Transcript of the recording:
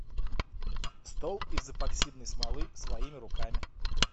стол из эпоксидной смолы своими руками